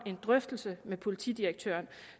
en drøftelse med politidirektøren